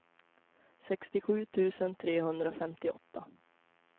sextiosju tusen trehundrafemtioåtta